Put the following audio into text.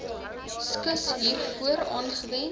skus hiervoor aangewend